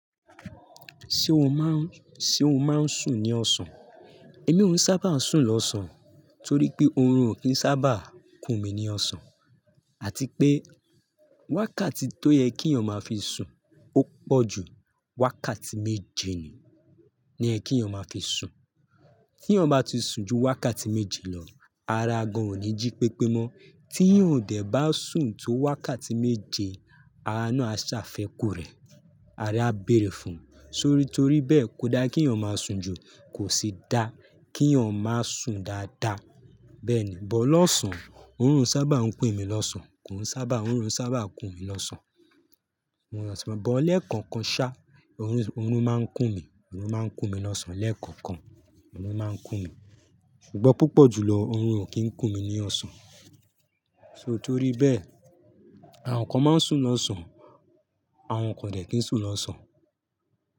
Ṣé o máa ń, ṣe o máa ń sùn ní ọ̀sán? Èmi ò sábà ń sùn lọ́sàn-án torí pé oorun ò kí ń sábà kùn mí ní ọ̀sán, àti pé wákàtí tó yẹ kí èèyàn máa fi sùn ó pọ̀ ju wákàtí méje ni, ní ẹ kí èèyàn máa fi sùn. Tí èèyàn bá ti sùn ju wákàtí méje lọ, ara gan ò ní jí pépé mọ́. Tí èèyàn ò dẹ̀ bá sùn tó wákàtí méje, ara náà á ṣàfẹ́kù rẹ̀, ara á bèèrè fún un. Torí torí bẹ́ẹ̀ kò dá kí èèyàn máa sùn jù, kò sì dá kí èèyàn máa sùn dáadáa. Bẹ́ẹ̀ ni, bọ́ lọ́sàn-án, oorun sábà ń pè mí lọ́sàn-án, kò sábà ń-- oorun sábà kùn mí lọ́sàn-án. Ṣùgbọ́n bọ́ lẹ́ẹ̀kọ̀kan ṣá, oorun máa ń kùn mí, oorun máa ń kùn mí lọ́sàn-án lẹ́ẹ̀kọ̀kan, oorun máa ń kùn mí. Ṣùgbọ́n púpọ̀ jùlọ oorun ò kí ń kùn mí ní ọ̀sán. So torí bẹ́ẹ̀, àwọn kan máa ń sùn lọ́sàn-án, àwọn kan ò dẹ̀ kí ń sùn lọ́sàn-án.